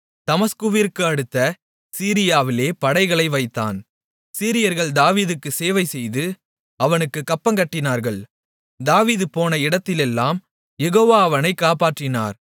தமஸ்குவிற்கு அடுத்த சீரியாவிலே படைகளை வைத்தான் சீரியர்கள் தாவீதுக்குச் சேவை செய்து அவனுக்குக் கப்பங்கட்டினார்கள் தாவீது போன இடத்திலெல்லாம் யெகோவா அவனைக் காப்பாற்றினார்